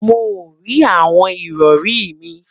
Mo rí awọn ìrọrì mi